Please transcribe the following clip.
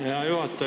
Hea juhataja!